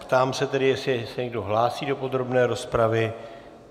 Ptám se tedy, jestli se někdo hlásí do podrobné rozpravy.